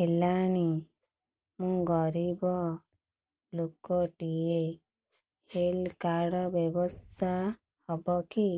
ହେଲାଣି ମୁଁ ଗରିବ ଲୁକ ଟିକେ ହେଲ୍ଥ କାର୍ଡ ବ୍ୟବସ୍ଥା ହବ କି